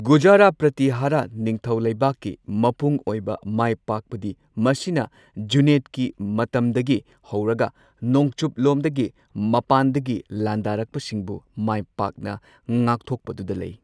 ꯒꯨꯔꯖꯔꯥ ꯄ꯭ꯔꯇꯤꯍꯥꯔꯥ ꯅꯤꯡꯊꯧꯂꯩꯕꯥꯛꯀꯤ ꯃꯄꯨꯡ ꯑꯣꯏꯕ ꯃꯥꯏꯄꯥꯛꯄꯗꯤ ꯃꯁꯤꯅ ꯖꯨꯅꯦꯗꯀꯤ ꯃꯇꯝꯗꯒꯤ ꯍꯧꯔꯒ ꯅꯣꯡꯆꯨꯞꯂꯣꯝꯗꯒꯤ ꯃꯄꯥꯟꯗꯒꯤ ꯂꯥꯟꯗꯥꯔꯛꯄꯁꯤꯡꯕꯨ ꯃꯥꯏ ꯄꯥꯛꯅꯥ ꯉꯥꯛꯊꯣꯛꯄꯗꯨꯗ ꯂꯩ꯫